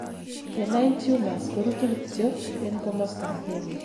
benign tumors korutu kityok en komosto agengei